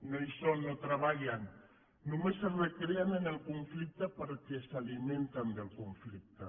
no hi són no treballen només es recreen en el conflicte perquè s’alimenten del conflicte